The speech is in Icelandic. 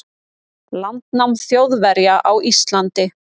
landnám Þjóðverja á Íslandi.